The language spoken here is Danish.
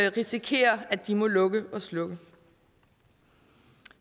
risikere at de må lukke og slukke